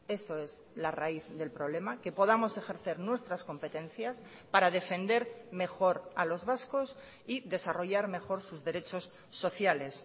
eso es la raíz del problema que podamos ejercer nuestras competencias para defender mejor a los vascos y desarrollar mejor sus derechos sociales